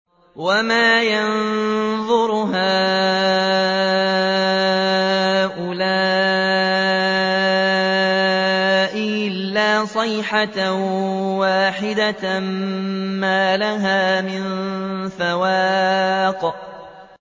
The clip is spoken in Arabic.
وَمَا يَنظُرُ هَٰؤُلَاءِ إِلَّا صَيْحَةً وَاحِدَةً مَّا لَهَا مِن فَوَاقٍ